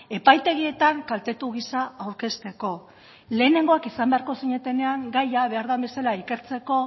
epaitegietan kaltetu giza aurkezteko lehenengoak izan beharko zinetenean gaia behar den bezala ikertzeko